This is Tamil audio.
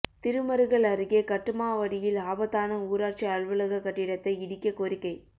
திருமருகல் அருகே கட்டுமாவடியில் ஆபத்தான ஊராட்சி அலுவலக கட்டிடத்தை இடிக்க கோரிக்கை